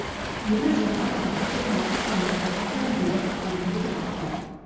меруерт жақан бақыт чермашев шафаг алиева қорытынды жаңалықтар